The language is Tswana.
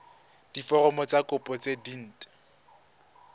diforomo tsa kopo tse dint